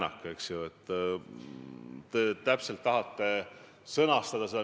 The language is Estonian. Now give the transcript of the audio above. Aga endiselt on see teie prioriteetide hulgas kirjas.